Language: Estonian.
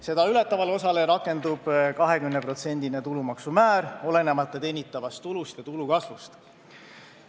Seda ületavale osale rakendub 20%-line tulumaksumäär, olenemata teenitavast tulust ja tulu kasvust.